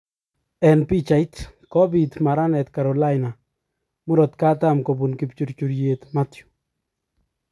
Eng pichait: Kobiit maranet Carolina murokatam kobun kipchurchuryet Matthew